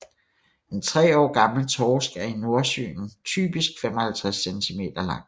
En tre år gammel torsk er i Nordsøen typisk 55 centimeter lang